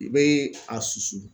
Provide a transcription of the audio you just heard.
I bee a susu